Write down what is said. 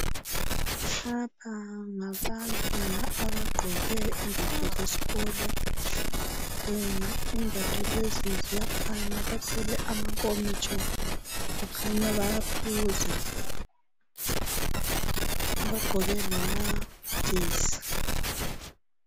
Lapha ngabantwana abagqoke imbatho zeskolo imbatho lezi ziyafana, bathwele amankomitsho kukhanya baya phuza bagqoke lamajesi.